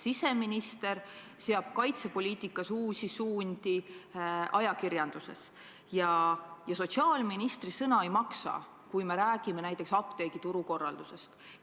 Siseminister seab kaitsepoliitikat ajades uusi suundi ajakirjanduses ja sotsiaalministri sõna ei maksa, kui me räägime näiteks apteegituru korraldusest.